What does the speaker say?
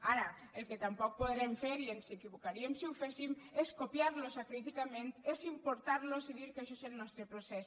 ara el que tampoc podrem fer i ens equivocaríem si ho féssim és copiar los acríticament és importar los i dir que això és el nostre procés